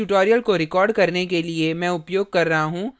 इस tutorial को record करने के लिए मैं उपयोग कर रहा हूँ